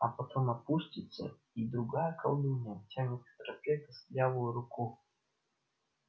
а потом опустится и другая колдунья тянет к тропе костлявую руку